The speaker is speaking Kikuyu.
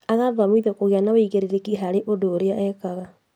Agathomithio kũgia na ũigĩrĩrĩki harĩ ũndũ ũrĩa areka